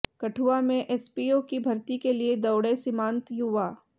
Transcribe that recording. कठुआ में एसपीओ की भर्ती के लिए दौड़े सीमांत युवा